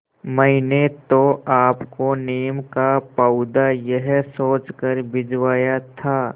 मैंने तो आपको नीम का पौधा यह सोचकर भिजवाया था